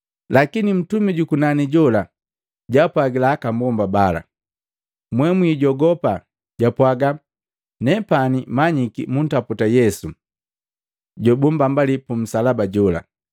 Lakini ntumi jukunani jola jwaapwagila aka mbomba bala, “Mwee mwijogopa!” Japaga, “Nepani manyiki muntaputa Yesu jobumbambaliya pu nsalaba jola.